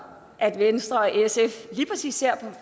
at venstre og sf lige præcis her